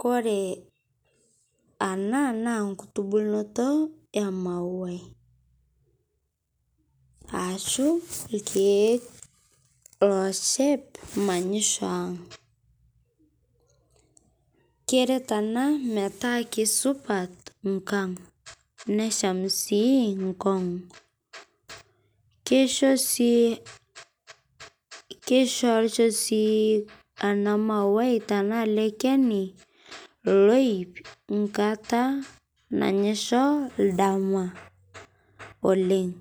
Kore ana naa nkutubuluto e mauai ashu lkiek locheep manyishoo ang'. Kereet ena metaa kesupaat nkaang', neshami sii nkoon. Keishoo sii keishorisho sii ana mauai tana ele keeni loiip nkaata nainyeshoo ldama oleng'.